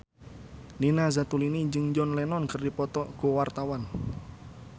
Nina Zatulini jeung John Lennon keur dipoto ku wartawan